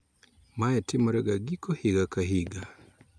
Mae timore ga giko higa ka higa